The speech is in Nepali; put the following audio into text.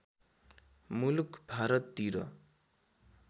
मुलुक भारततिर